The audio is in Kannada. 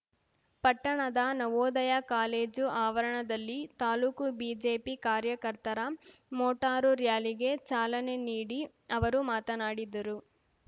ಪಟ್ಟಣದ ನವೋದಯ ಕಾಲೇಜು ಆವರಣದಲ್ಲಿ ತಾಲ್ಲೂಕು ಬಿಜೆಪಿ ಕಾರ್ಯಕರ್ತರ ಮೋಟಾರು ಱ್ಯಾಲಿಗೆ ಚಾಲನೆ ನೀಡಿ ಅವರು ಮಾತನಾಡಿದರು